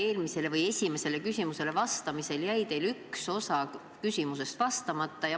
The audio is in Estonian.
Katri Raigi esimesele küsimusele vastamisel jäi teil üks osa küsimusest vastamata.